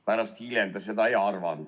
Pärast, hiljem ta seda ei arvanud.